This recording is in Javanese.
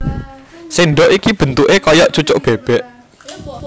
Sèndhok iki bentuké kaya cucuk bébék